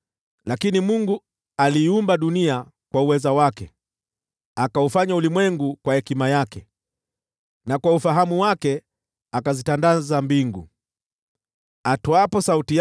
Lakini Mungu aliiumba dunia kwa uweza wake, akaweka misingi ya ulimwengu kwa hekima yake, na akazitandaza mbingu kwa ufahamu wake.